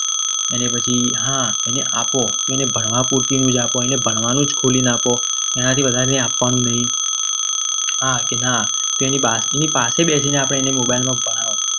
એને પછી હા આપો તો એને ભણવા પૂરતી નું જ આપો. એટલે ભણવાનું જ ખોલીને આપો. એનાથી વધારે કંઈ આપવાનું નહીં. હા કે ના તેની પાસે બેસીને આપણે એને mobile માં ભણાવો.